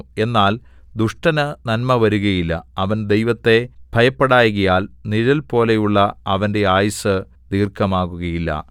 എന്നാൽ ദുഷ്ടന് നന്മ വരുകയില്ല അവൻ ദൈവത്തെ ഭയപ്പെടായ്കയാൽ നിഴൽപോലെയുള്ള അവന്റെ ആയുസ്സ് ദീർഘമാകുകയില്ല